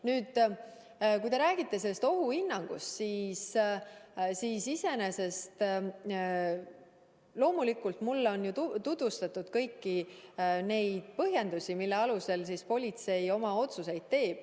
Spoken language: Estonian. Nüüd, kui te räägite sellest ohuhinnangust, siis loomulikult on mulle tutvustatud kõiki neid põhjendusi, mille alusel politsei oma otsuseid teeb.